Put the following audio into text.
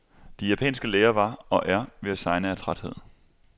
De japanske læger var, og er, ved at segne af træthed.